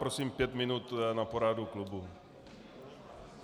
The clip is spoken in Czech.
Prosím pět minut na poradu klubu.